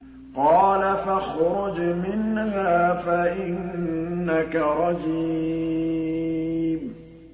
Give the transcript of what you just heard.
قَالَ فَاخْرُجْ مِنْهَا فَإِنَّكَ رَجِيمٌ